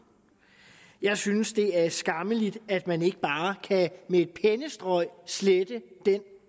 jeg synes at det er skammeligt at man ikke bare med et pennestrøg slette den